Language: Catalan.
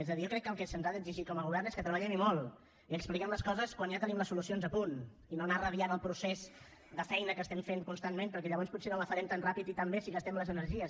és a dir jo crec que el que se’ns ha d’exigir com a govern és que treballem i molt i que expliquem les coses quan ja tenim les solucions a punt i no anar radiant el procés de feina que estem fent constantment perquè llavors potser no la farem tan ràpid ni tan bé si gastem les energies